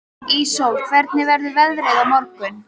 Íssól, hvernig verður veðrið á morgun?